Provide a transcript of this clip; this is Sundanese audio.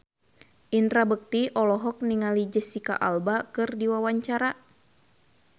Indra Bekti olohok ningali Jesicca Alba keur diwawancara